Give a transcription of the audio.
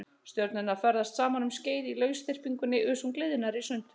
Stjörnurnar ferðast saman um skeið í lausþyrpingunni uns hún gliðnar í sundur.